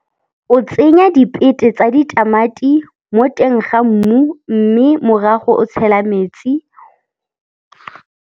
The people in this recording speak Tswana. O tsenya dipete tsa ditamati mo teng ga mmu mme morago o tshela metsi.